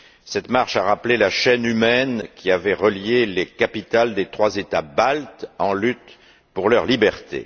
Cette marche a rappelé la chaîne humaine qui avait relié les capitales des trois États baltes en lutte pour leurs libertés.